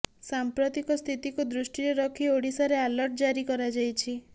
ସାମ୍ପ୍ରତିକ ସ୍ଥିତିକୁ ଦୃଷ୍ଟିରେ ରଖି ଓଡ଼ିଶାରେ ଆଲର୍ଟ ଜାରି କରାଯାଇଛି